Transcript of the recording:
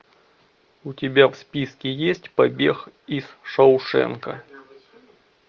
у тебя в списке есть побег из шоушенка